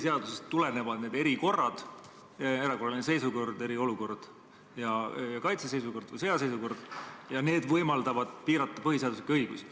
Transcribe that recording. Need erilised olukorrad – erakorraline seisukord ja sõjaseisukord – tulenevad põhiseadusest ja võimaldavad piirata põhiseaduslikke õigusi.